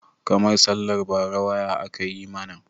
Karmar sallar bara waya aka yi mana.